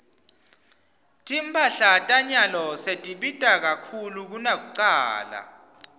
timphahla tanyalo setibita kakhulu kunakucala